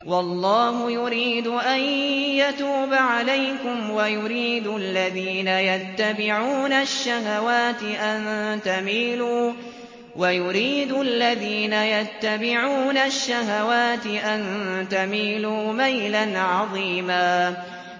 وَاللَّهُ يُرِيدُ أَن يَتُوبَ عَلَيْكُمْ وَيُرِيدُ الَّذِينَ يَتَّبِعُونَ الشَّهَوَاتِ أَن تَمِيلُوا مَيْلًا عَظِيمًا